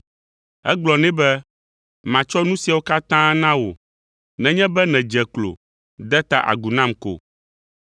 Egblɔ nɛ be, “Matsɔ nu siawo katã na wò nenye be nèdze klo de ta agu nam ko.”